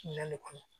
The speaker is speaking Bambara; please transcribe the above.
Minɛn le kɔnɔ